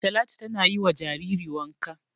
Talatu tana yi wa jariri wanka.